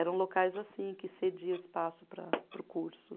Eram locais assim, que cedia espaço para, para o curso.